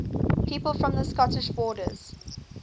people from the scottish borders